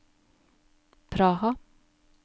Praha